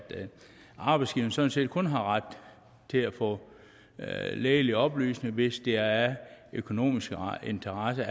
arbejdsgiveren sådan set kun har ret til at få lægelige oplysninger hvis det er af økonomisk interesse